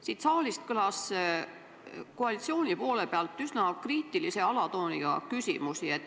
Siin saalis kõlas koalitsiooni poole pealt üsna kriitilise alatooniga küsimusi.